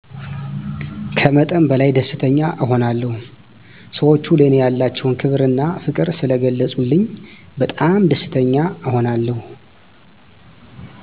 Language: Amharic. ከመጠን በላይ ደስተኛ እሆናለሁ ሰወቹ ለኔ ያላቸዉን ክብር እና ፍቅር ስለገለፀልኝ በጣም ደስተኛ እሆናለሁ።